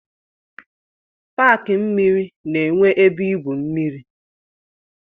Paki mmiri na-enwe ebe igwu mmiri.